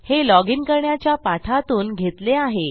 हे लॉजिन करण्याच्या पाठातून घेतले आहे